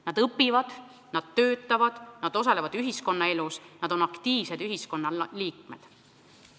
Nad õpivad, nad töötavad, nad osalevad ühiskonnaelus, nad on aktiivsed ühiskonnaliikmed.